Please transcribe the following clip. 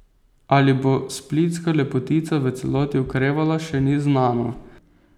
Ali bo splitska lepotica v celoti okrevala, še ni znano.